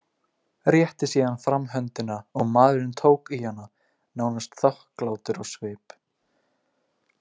Rétti síðan fram höndina og maðurinn tók í hana, nánast þakklátur á svip.